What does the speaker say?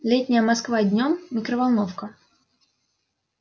летняя москва днём микроволновка